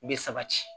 Bɛ sabati